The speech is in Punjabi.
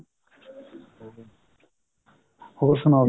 ਹੋਰ ਸੁਣਾਓ